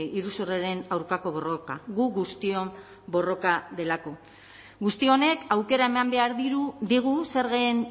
iruzurraren aurkako borroka gu guztion borroka delako guzti honek aukera eman behar digu zergen